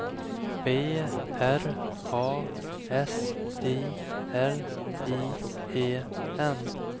B R A S I L I E N